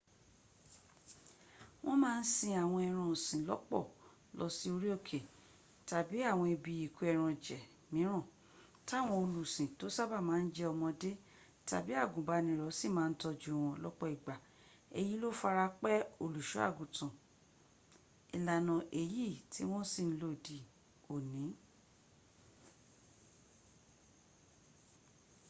wọ́n má ń sin àwọn ẹran ọ̀sìn lọ́pọ̀ lọ sí orí òkè tàbí àwọn ibi ìkó ẹran jẹ̀ míràn táwọn olùsìn tó sábàá ma ń jẹ́ ọmọdé tàbí àgùnbánirọ̀ sì má ń tọ́jú wọn lọ́pọ̀ ìgbà èyí ló fara pẹ́ olùsọ́àgùtàn. ìlànà èyí tí wọ́n sì ń lò dí òní